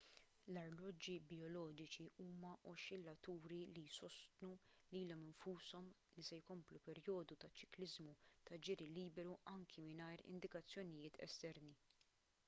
l-arloġġi bijoloġiċi huma oxxillaturi li jsostnu lilhom infushom li se jkomplu perjodu ta' ċikliżmu ta' ġiri liberu anke mingħajr indikazzjonijiet esterni